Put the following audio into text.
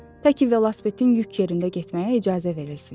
Təki velosipedin yük yerində getməyə icazə verilsin.